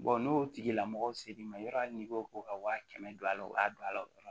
n'o tigilamɔgɔ sel'i ma yɔrɔ n'i ko k'o ka wa kɛmɛ don a la u b'a don a la o yɔrɔ la